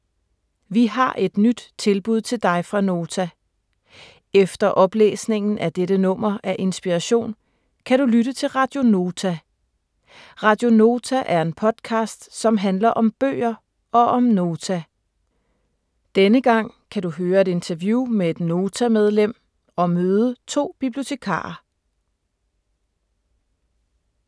Vi har et nyt tilbud til dig fra Nota. Efter oplæsningen af dette nummer af Inspiration, kan du lytte til Radio Nota. Radio Nota er en podcast, som handler om bøger og om Nota. Denne gang kan du høre et interview med et Nota-medlem og møde to bibliotekarer.